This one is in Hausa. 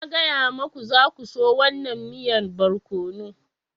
Na gaya muku, za ku so wannan miyan barkono.